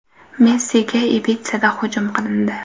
Messiga Ibitsada hujum qilindi.